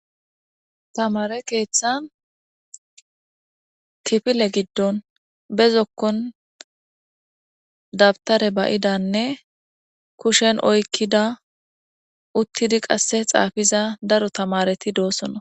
Tamaare keethan kifile giddon be zokkon dabtare ba'idanne kushan aykida uttidi qasse xaafiza daro tamaareti doosonna.